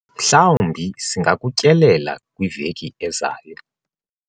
mhlawumbi singakutyelela kwiveki ezayo